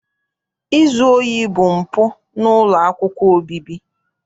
Izu ohi bụ mpụ n'ụlọ akwụkwọ obibi.